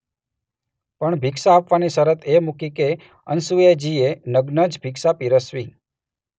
પણ ભિક્ષા આપવાની શરત એ મુકિ કે અનસુયાજીએ નગ્ન જ ભિક્ષા પીરસવી.